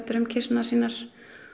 um kisurnar sínar